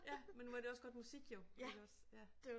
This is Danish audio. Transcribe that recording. Ja men nu var det jo også godt musik jo iggås ja